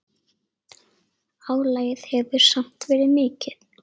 Álagið hefur samt verið mikið.